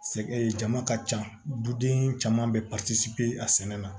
Sɛ jama ka ca duden caman bɛ a sɛnɛ la